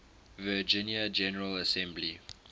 virginia general assembly